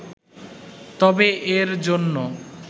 তবে এর জন্য